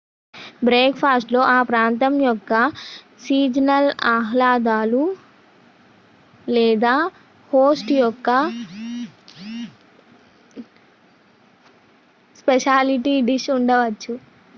బ్రేక్ఫాస్ట్లో ఆ ప్రాంతం యొక్క సీజనల్ ఆహ్లాదాలు లేదా హోస్ట్ యొక్క స్పెషాలిటీ డిష్ ఉండవచ్చు